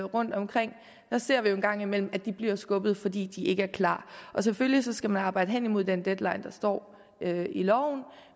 rundtomkring ser vi jo en gang imellem at de bliver skubbet fordi de ikke er klar selvfølgelig skal man arbejde hen imod den deadline der står i loven